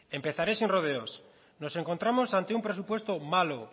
empezaré sin rodeos nos encontramos ante un presupuesto malo